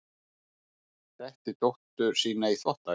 Setti dóttur sína í þvottavél